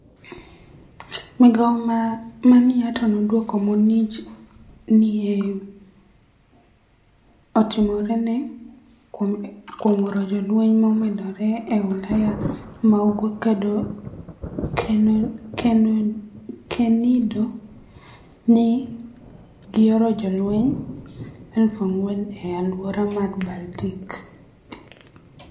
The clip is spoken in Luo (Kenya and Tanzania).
Migao mar niATO nodwoko monij ma ni e otimoreno kuom oro jolweniy momedore e Ulaya ma ugwe kenido ni e gioro jolweniy 4,000 e alwora mar Baltic.